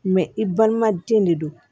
i balimaden de don